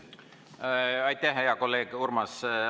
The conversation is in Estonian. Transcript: Aitäh, hea kolleeg Urmas!